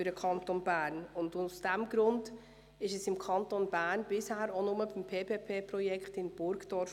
Aus diesem Grund blieb es für den Kanton Bern bisher beim Projekt in Burgdorf.